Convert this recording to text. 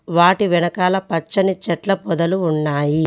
వాటి వెనకాల పచ్చని చెట్ల పొదలు ఉన్నాయి.